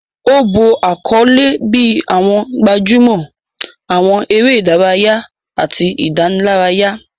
Ó bo àkọlé bíi àwọn gbajúmọ̀, àwọn eré ìdárayá, àti ìdánilárayá